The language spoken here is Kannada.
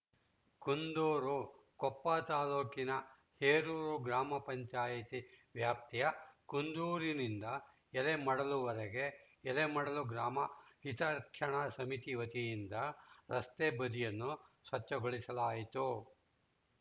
ಕುಂದೂರು ಕೊಪ್ಪ ತಾಲೂಕಿನ ಹೇರೂರು ಗ್ರಾಮ ಪಂಚಾಯಿತಿ ವ್ಯಾಪ್ತಿಯ ಕುಂದೂರಿನಿಂದ ಎಲೆಮಡಲುವರೆಗೆ ಎಲೆಮಡಲು ಗ್ರಾಮ ಹಿತ ರಕ್ಷಣಾ ಸಮಿತಿ ವತಿಯಿಂದ ರಸ್ತೆ ಬದಿಯನ್ನು ಸ್ವಚ್ಛಗೊಳಿಸಲಾಯಿತು